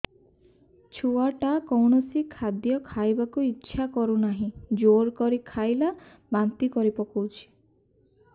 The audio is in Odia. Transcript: ଛୁଆ ଟା କୌଣସି ଖଦୀୟ ଖାଇବାକୁ ଈଛା କରୁନାହିଁ ଜୋର କରି ଖାଇଲା ବାନ୍ତି କରି ପକଉଛି